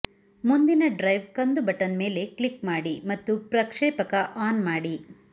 ಮುಂದಿನ ಡ್ರೈವ್ ಕಂದು ಬಟನ್ ಮೇಲೆ ಕ್ಲಿಕ್ ಮಾಡಿ ಮತ್ತು ಪ್ರಕ್ಷೇಪಕ ಆನ್ ಮಾಡಿ